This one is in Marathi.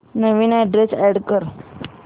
नवीन अॅड्रेस अॅड कर